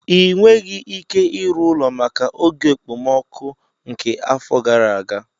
Ị nweghị ike ịrụ ụlọ maka oge okpomọkụ nke afọ gara aga.